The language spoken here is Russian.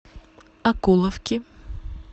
окуловки